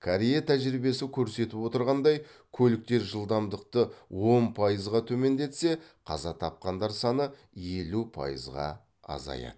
корея тәжірибесі көрсетіп отырғандай көліктер жылдамдықты он пайызға төмендетсе қаза тапқандар саны елу пайызға азаяды